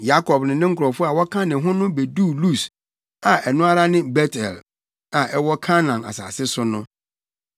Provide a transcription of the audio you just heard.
Yakob ne ne nkurɔfo a wɔka ne ho no beduu Lus a ɛno ara ne Bet-El a ɛwɔ Kanaan asase so no.